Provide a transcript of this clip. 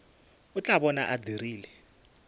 o tla bona a dirile